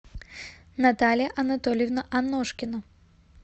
наталья анатольевна аношкина